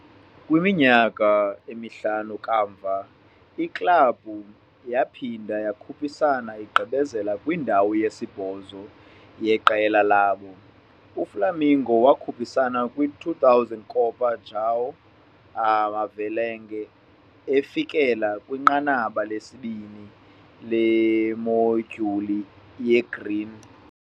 Kwiminyaka emihlanu kamva, iklabhu yaphinda yakhuphisana, igqibezela kwindawo yesibhozo yeqela labo. UFlamengo wakhuphisana kwi -2000 Copa João Havelange, efikelela kwinqanaba lesibini leModyuli yeGreen.